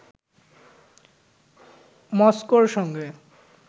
মস্কোর সঙ্গে